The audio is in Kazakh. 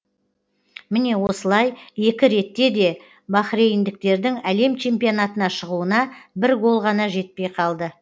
міне осылай екі ретте де бахрейндіктердің әлем чемпионатына шығуына бір гол ғана жетпей қалды